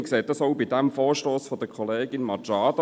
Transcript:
Man sieht dies auch beim Vorstoss der Kollegin Machado: